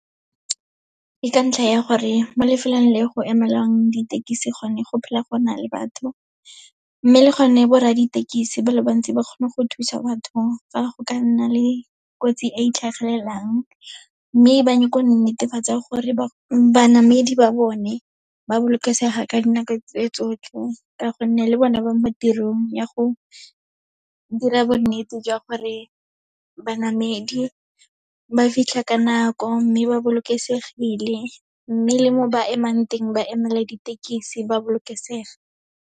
Ke ka ntlha ya gore, mo lefelong le go emelwang ditekisi gone go phela go na le batho, mme le gone borra ditekisi ba le bantsi ba kgone go thusa batho fa go ka nna le kotsi e e tlhagelelang. Mme ba netefatse gore banamedi ba bone ba bolokesega ka dinako tse tsotlhe, ka gonne le bone ba mo tirong ya go dira bonnete jwa gore banamedi ba fitlha ka nako, mme ba bolokesegile. Mme le mo ba emang teng, ba emela ditekisi ba bolokesega.